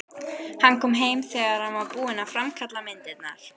Hann kom heim þegar hann var búinn að framkalla myndirnar.